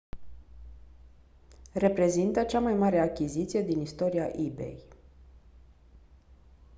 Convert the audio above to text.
reprezintă cea mai mare achiziție din istoria ebay